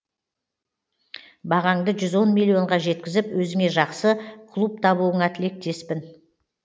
бағаңды жүз он миллионға жеткізіп өзіңе жақсы клуб табуыңа тілектеспін